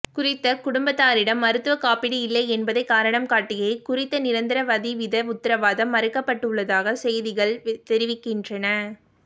குறித்த குடும்பத்தாரிடம் மருத்துவ காப்பீடு இல்லை என்பதை காரணம் காட்டியே குறித்த நிரந்தர வதிவித உத்தரவாதம் மறுக்கப்பட்டுள்ளதாக செய்திகள் தெரிவிக்கின்றன